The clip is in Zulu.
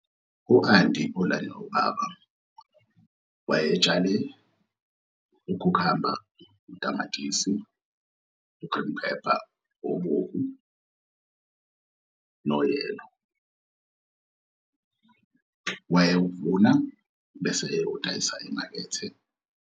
U-Anti olanywa ubaba wayetshale ukhukhamba, utamatisi, u-green pepper obovu no-yellow. Wayewuvuna bese eyowudayisa emakethe.